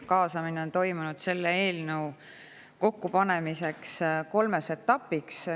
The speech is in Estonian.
Kaasamine on toimunud selle eelnõu kokkupanemisel kolmes etapis.